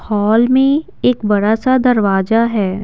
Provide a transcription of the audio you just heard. Hall में एक बड़ा सा दरवाजा है।